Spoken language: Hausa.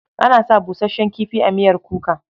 Ana sa busasshen kifi a miyar kuka.